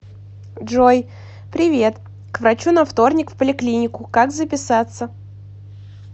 джой привет к врачу на вторник в поликлинику как записаться